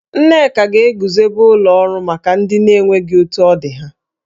Nneka ga-eguzobe ụlọ ọrụ maka ndị na-enweghi otu ọdị ha